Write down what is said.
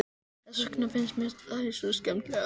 Þess vegna finnst mér þær svo skemmtilegar.